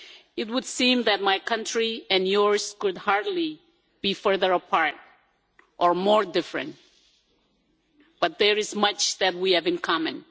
It would seem that my country and yours could hardly be further apart or more different but there is much that we have in common.